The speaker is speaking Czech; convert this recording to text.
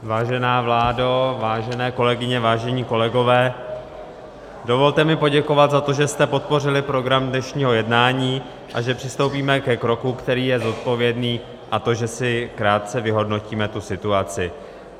Vážená vládo, vážené kolegyně, vážení kolegové, dovolte mi poděkovat za to, že jste podpořili program dnešního jednání a že přistoupíme ke kroku, který je zodpovědný, a to že si krátce vyhodnotíme tu situaci.